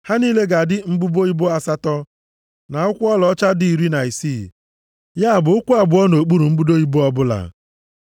Ha niile ga-adị mbudo ibo asatọ na ụkwụ ọlaọcha dị iri na isii, ya bụ ụkwụ abụọ nʼokpuru mbudo ibo ọbụla.